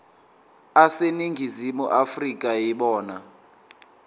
aseningizimu afrika yibona